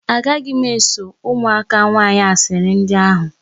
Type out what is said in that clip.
Agaghị m eso ụmụaka nwaanyị asịrị ndị ahụ.